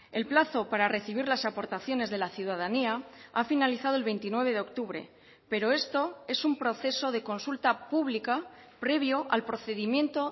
el plazo para recibir las aportaciones de la ciudadanía ha finalizado el veintinueve de octubre pero esto es un proceso de consulta pública previo al procedimiento